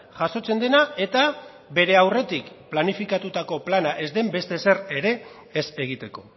jasotzen dena eta bere aurretik planifikatutako plana ez den beste zer ere ez egiteko